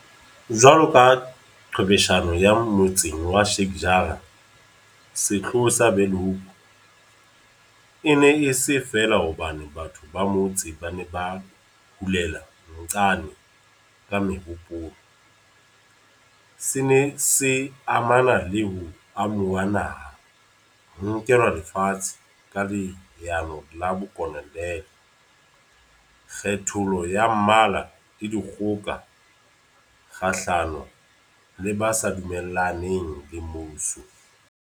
Jwalo ka qhwebeshano ya motseng wa Sheik Jarrah, sehloho sa Bulhoek e ne e se feela hobane batho ba motse ba ne ba hulela nxane ka mehopolo, se ne se amana le ho amohuwa naha, ho nkelwa lefatshe ka leano la bokolo neale, kgethollo ya mmala le dikgoka kgahlano le ba sa dumellaneng le mmuso.